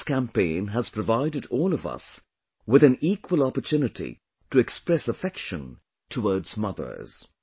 This campaign has provided all of us with an equal opportunity to express affection towards mothers